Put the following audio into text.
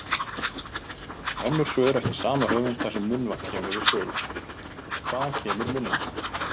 Önnur svör eftir sama höfund þar sem munnvatn kemur við sögu: Hvaðan kemur munnvatnið?